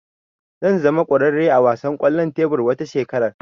Zan zama kwararre a wasan kwallon tebur wata shekara